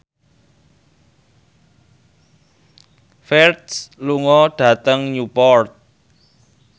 Ferdge lunga dhateng Newport